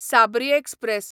Sabri express